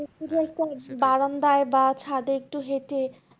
বারান্দায় বা ছাদে একটু হেঁটে